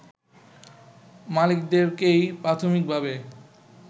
মালিকদেরকেই প্রাথমিকভাবে